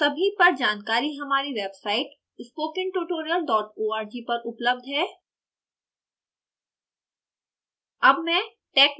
उपरोक्त सभी पर जानकारी हमारी website spoken tutorial dot org पर उपलब्ध है